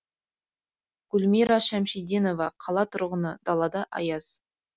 гүлмира шәмшиденова қала тұрғыны далада аяз